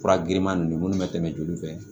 Fura girinman ninnu minnu bɛ tɛmɛ joli fɛ